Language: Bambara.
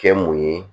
Kɛ mun ye